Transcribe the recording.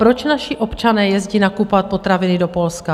Proč naši občané jezdí nakupovat potraviny do Polska?